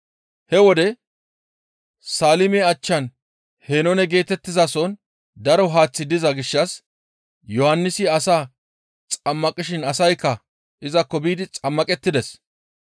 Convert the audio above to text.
He wode Saalime achchan Henoone geetettizason daro Haaththi diza gishshas Yohannisi asaa xammaqishin asaykka izakko biidi xammaqettides.